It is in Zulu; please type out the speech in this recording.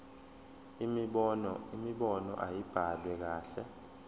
imibono ayibhaliwe kahle